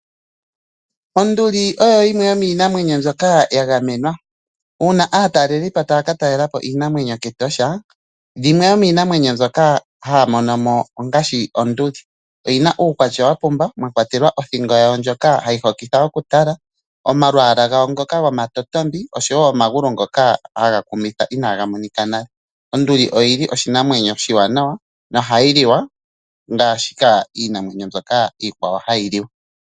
Onduli oyo yimwe yomiinamwenyo mbyoka ya gamenwa. Uuna aatalelipo taya ka talela po iinamwenyo kEtosha, yimwe yomiinamwenyo mbyoka haya mono mo ongaashi onduli. Oyi na uukwatya wa pumba, mwa kwatelwa othingo yawo ndjoka hayi hokitha okutala, omalwaala gawo ngoka gomatotombi osho wo omagulu ngoka haga kumitha inaga monika nale. Onduli oshinamwenyo oshiwanawa nohayi liwa ngaashi iinamwenyo iikwawo hayi liwa.